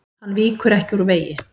Hann víkur ekki úr vegi.